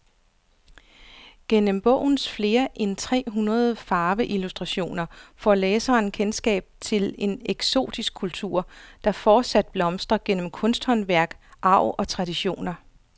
Gennem bogens flere end tre hundrede farveillustrationer får læseren kendskab til en eksotisk kultur, der fortsat blomstrer gennem kunsthåndværk, arv og traditioner.